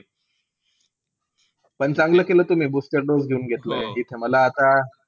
पण चांगलं केलं तुम्ही booster dose देऊन घेतलं मला आता.